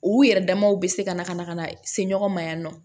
U yɛrɛ damaw bɛ se ka na ka na ka na se ɲɔgɔn ma yan nɔ